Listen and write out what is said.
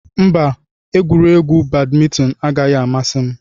Mba, egwuregwu badmintoni anaghị amasị m.